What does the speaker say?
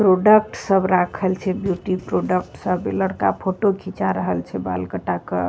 Product सब राखल छै ब्यूटी प्रोडक्ट सब इ लड़का फोटो खींचा रहल छै बाल कटा के।